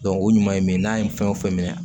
o ɲuman ye min ye n'a ye fɛn o fɛn minɛ